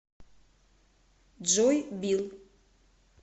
джой билл